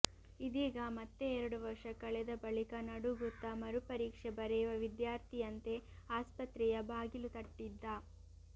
ಇದೀಗ ಮತ್ತೆ ಎರಡು ವರ್ಷ ಕಳೆದ ಬಳಿಕ ನಡುಗುತ್ತಾ ಮರು ಪರೀಕ್ಷೆ ಬರೆಯುವ ವಿದ್ಯಾರ್ಥಿಯಂತೆ ಆಸ್ಪತ್ರೆಯ ಬಾಗಿಲು ತಟ್ಟಿದ್ದ